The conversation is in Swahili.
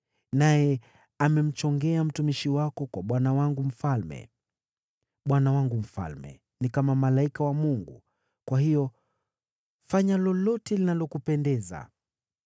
Naye amemchongea mtumishi wako kwa bwana wangu mfalme. Bwana wangu mfalme ni kama malaika wa Mungu, kwa hiyo fanya lolote linalokupendeza.